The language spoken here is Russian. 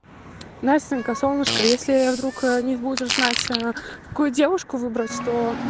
настенька солнышко если я вдруг не будешь знать какую девушку выбрать тоо